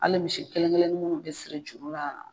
Hali misi kelen kkelennin munnu bɛ siri jurura.